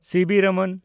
CB. Raman